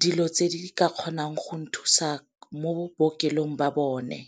dilo tse di ka kgonang go nthusa mo bookelong ba bone.